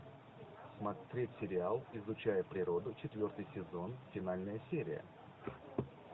смотреть сериал изучая природу четвертый сезон финальная серия